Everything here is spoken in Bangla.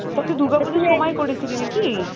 তো তুই দূর্গা পুজোর সময় করেছিলি না কি ?